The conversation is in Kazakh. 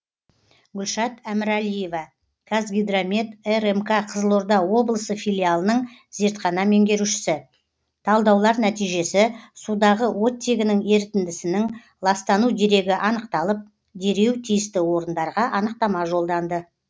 гүлшат әміралиева қазгидромет рмк қызылорда облысы филиалының зертхана меңгерушісі талдаулар нәтижесі судағы оттегінің ерітіндісінің ластану дерегі анықталып дереу тиісті орындарға анықтама жолданды